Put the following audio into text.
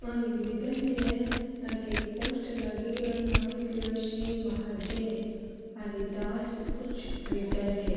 ओ एक विधालय है अठे एक पोस्टर लागेङो है नाम लीखेड़ो है श्री माहादे हरिदास उच्च विधालय।